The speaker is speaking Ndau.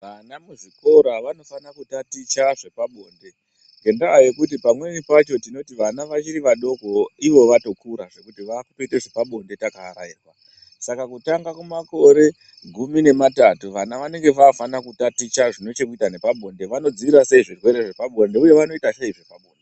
Vana muzvikora vanofana kutaticha zvepabonde ngendaa yekuti pamweni pacho tinoti vana vachiri vadoko ivo vatokura zvekuti vaakutoita zvepabonde kana vaarairwa. Saka kutanga kumakore gumi nematatu vana vanenge vaafana kutaticha zvine chekuita nepabonde, vanodzivirira sei zvirwere zvepabonde uye vanoita sei zvepabonde.